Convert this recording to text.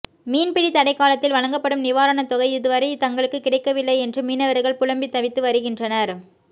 மீன்பிடி தடைக்காலத்தில் வழங்கப்படும் நிவாரண தொகை இதுவரை தங்களுக்கு கிடைக்கவில்லை என்று மீனவர்கள் புலம்பி தவித்து வருகின்றனர்